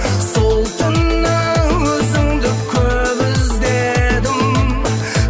сол түні өзіңді көп іздедім